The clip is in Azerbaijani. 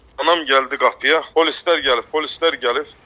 Anam gəldi qapıya, polislər gəlib, polislər gəlir.